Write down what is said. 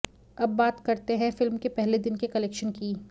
अब बात करते है फिल्म के पहले दिन के कलेक्शन की